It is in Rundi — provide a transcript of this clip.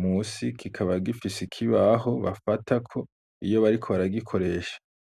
munsi kikaba gifise ikibaho bafatako iyo bariko baragikoresha.